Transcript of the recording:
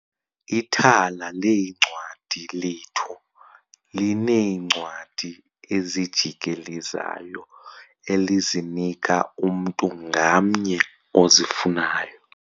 Ithala leencwadi lethu lineencwadi ezijikelezayo elizinika umntu ngamnye ozifunayo.